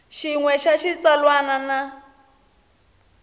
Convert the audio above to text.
xin we xa xitsalwana na